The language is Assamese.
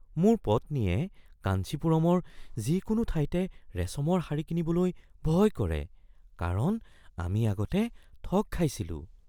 মোৰ পত্নীয়ে কাঞ্চিপুৰমৰ যিকোনো ঠাইতে ৰেচমৰ শাৰী কিনিবলৈ ভয় কৰে কাৰণ আমি আগতে ঠগ খাইছিলোঁ।